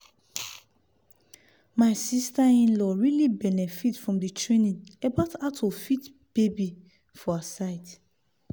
my sister-in-law really benefit from the training about how to feed baby for her side.